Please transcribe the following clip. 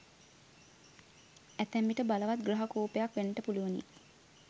ඇතැම් විට බලවත් ග්‍රහ කෝපයක් වෙන්නට පුළුවනි.